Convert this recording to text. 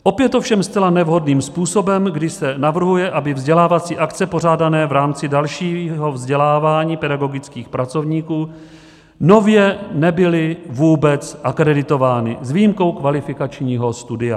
Opět ovšem zcela nevhodným způsobem, kdy se navrhuje, aby vzdělávací akce pořádané v rámci dalšího vzdělávání pedagogických pracovníků nově nebyly vůbec akreditovány s výjimkou kvalifikačního studia.